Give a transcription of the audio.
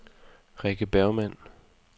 Rikke Bergmann